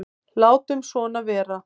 Látum svona vera.